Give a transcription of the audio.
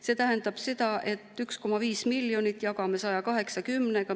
See tähendab seda, et 1,5 miljonit jagame 180-ga.